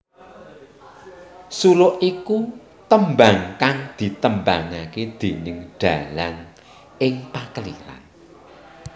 Suluk iku tembang kang ditembangake déning dalang ing pakeliran